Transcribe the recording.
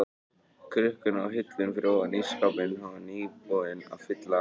krukkuna á hillunni fyrir ofan ísskápinn, hann var nýbúinn að fylla á hana.